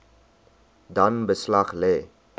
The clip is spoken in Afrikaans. dan beslag lê